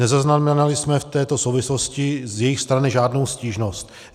Nezaznamenali jsme v této souvislosti z jejich strany žádnou stížnost.